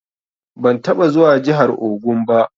Ban taɓa zuwa jihar Ogun ba.